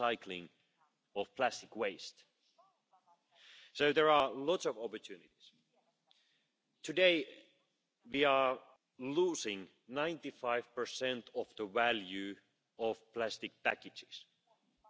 To conclude, let me underline that the Council is and will remain open for discussions and cooperation with you, honourable Members, and of course with the Commission and interested stakeholders, in order to define a path forward to a truly circular economy.